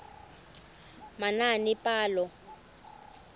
manaanepalo